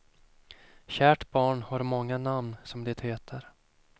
Kärt barn har många namn, som det heter.